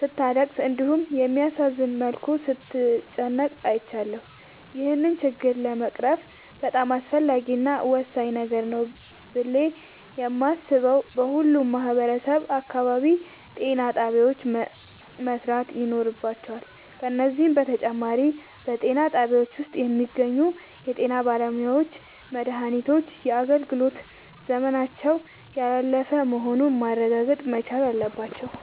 ስታለቅስ እንዲሁም በሚያሳዝን መልኩ ስትጨነቅ አይቻለሁ። ይህን ችግር ለመቅረፍ በጣም አስፈላጊ እና ወሳኝ ነገር ነው ብሌ የማሥበው በሁሉም ማህበረሠብ አካባቢ ጤናጣቢያዎች መሠራት ይኖርባቸዋል። ከዚህም በተጨማሪ በጤናጣቢያው ውስጥ የሚገኙ የጤናባለሙያዎች መድሃኒቶች የአገልግሎት ዘመናቸው ያላለፈ መሆኑን ማረጋገጥ መቻል አለባቸው።